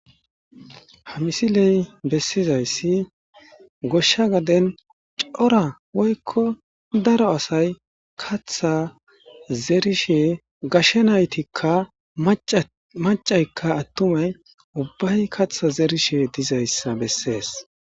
Ha misiley bessizayssi goshsha gadden cora woykko daro asay kaththa zeerishe gashe naytikka macaykka attumay ubbay kaththa zeerishe dizayssa bessees